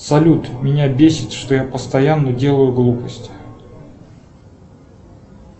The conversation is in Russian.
салют меня бесит что я постоянно делаю глупости